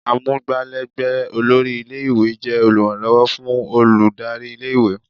Amugbalegbe olórí ilé-ìwé jẹ́ oluranlowo fún olùdarí ilé-ìwé.